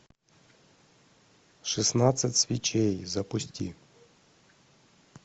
шестнадцать свечей запусти